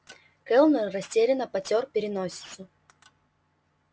кэллнер растерянно потёр переносицу